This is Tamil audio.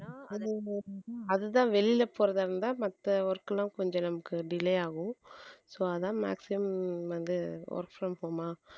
அதுதான் வெளியிலே போறதா இருந்தா மத்த work எல்லாம் கொஞ்சம் நமக்கு delay ஆகும் so அதான் maximum வந்து work from ஆ